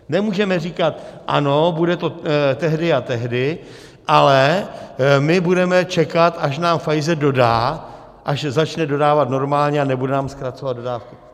Nemůžeme říkat: ano, bude to tehdy a tehdy, ale my budeme čekat, až nám Pfizer dodá, až začne dodávat normálně a nebude nám zkracovat dodávky.